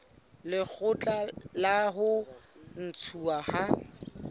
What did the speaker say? lekgotla la ho ntshuwa ha